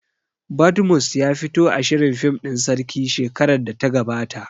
Badmus ya fito a shirin fim ɗin sarki shekarar da ta gabata